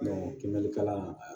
kalan